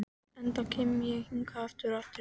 enda kem ég hingað aftur og aftur.